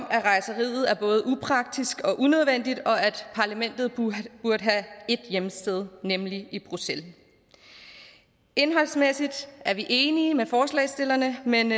at rejseriet er både upraktisk og unødvendigt og at parlamentet burde have ét hjemsted nemlig i bruxelles indholdsmæssigt er vi enige med forslagsstillerne men